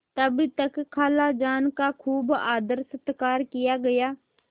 तब तक खालाजान का खूब आदरसत्कार किया गया